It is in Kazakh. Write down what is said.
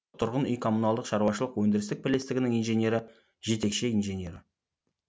тұрғын үй коммуналдық шаруашылық өндірістік бірлестігінің инженері жетекші инженері